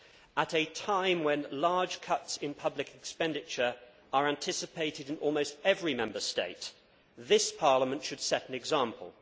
At a time when large cuts in public expenditure are anticipated in almost every Member State, this Parliament should set an example.